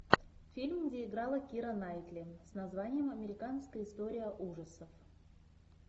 фильм где играла кира найтли с названием американская история ужасов